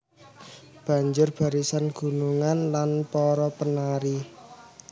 Banjur barisan gunungan lan para penari